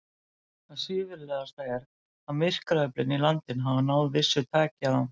Það svívirðilegasta er, að myrkraöflin í landinu hafa náð vissu taki á.